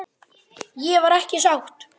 Ég var ekki sátt.